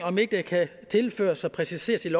om det ikke kan tilføres og præciseres i